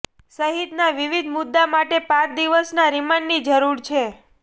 સહિતના વિવિધ મુદ્દા માટે પાંચ દિવસના રિમાન્ડની જરૂર છે